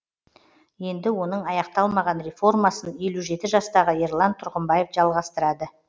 енді оның аяқталмаған реформасын елу жеті жастағы ерлан тұрғымбаев жалғастырады